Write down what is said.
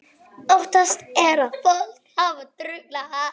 Óttast er að fólkið hafi drukknað